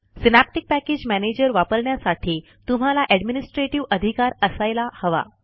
synaptic package manager वापरण्यासाठी तुम्हाला administrativeअधिकार असायला हवा